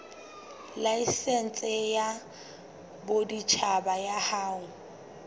laesense ya boditjhaba ya ho